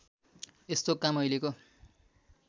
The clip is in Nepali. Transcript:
यस्तो काम अहिलेको